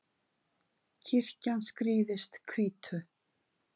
kirkjan skrýðist hvítu